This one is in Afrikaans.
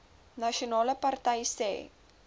nasionale party sê